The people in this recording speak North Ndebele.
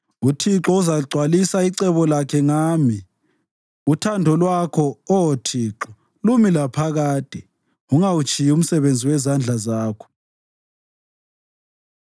UThixo uzagcwalisa icebo lakhe ngami; uthando lwakho, Oh Thixo, lumi laphakade ungawutshiyi umsebenzi wezandla zakho.